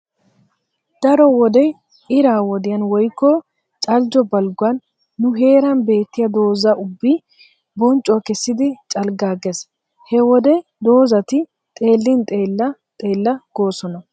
Daro wode ira wodiyan woykko caljjo balgguwan nu heeran beettiya dooza ubbi bonccuwa kessidi calggaggees. He wode doozat xeellin xeella xeella goosona.